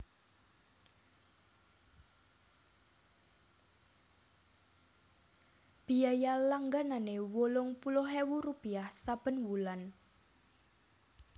Biaya langganané wolung puluh ewu rupiah saben wulan